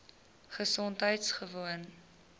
gesondheidgewoon